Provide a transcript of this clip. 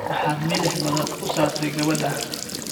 Maxaad milix badan u saartay gabadha?